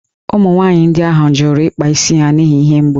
Ụmụ nwanyị ndị ahụ jụrụ ịkpa isi ha n’ihi ihe mgbu